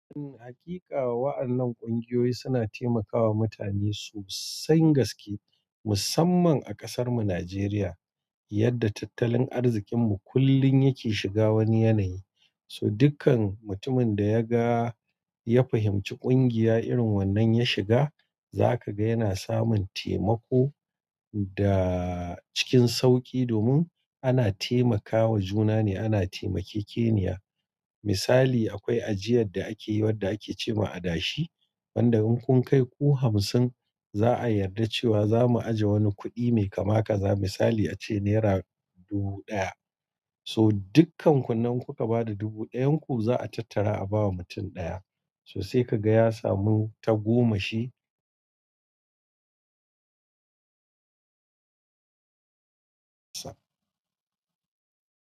Eh haƙiƙa wa'annan ƙungiyoyi suna taimakawa mutane sosan gaske musamman a ƙasar mu Nijeriya yadda tattalin arzikin mu kullum yake shiga wani yanayi. To dukkan mutumin da ya ga ya fahimci kungiya irin wannan ya shiga zaka ga yana samun taimako da cikin sauƙi domin ana taimakawa juna ne ana taimakekeniya. Misali akwai ajiyar da ake yi wadda ake ce ma adashi wanda in kun kai ku hamsin za'a yarda cewa zamu aje wani kudi mai kama kaza misali a ce Naira dubu ɗaya. To dukkan kun nan kuka bada dubu ɗayan ku za'a tattara a bawa mutum ɗaya to sai ka ga ya samu tagomashi.